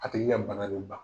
A tigi ka bana do.